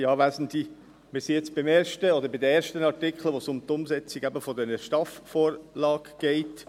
Wir sind jetzt beim ersten oder bei den ersten Artikeln, bei denen es um die Umsetzung der STAF-Vorlage geht.